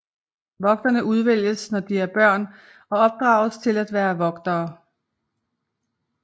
Vogterne udvælges når de er børn og opdrages til at være vogtere